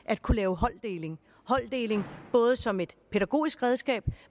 at kunne lave holddeling holddeling både som et pædagogisk redskab